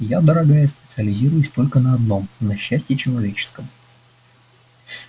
я дорогая специализируюсь только на одном на счастье человеческом